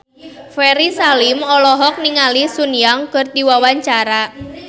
Ferry Salim olohok ningali Sun Yang keur diwawancara